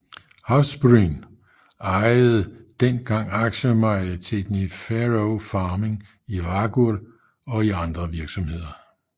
Havsbrún ejede dengang aktiemajoriteten i Faroe Farming i Vágur og i andre virksomheder